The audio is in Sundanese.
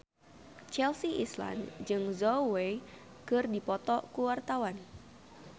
Chelsea Islan jeung Zhao Wei keur dipoto ku wartawan